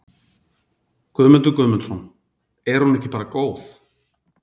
Guðmundur Guðmundsson: Er hún ekki bara góð?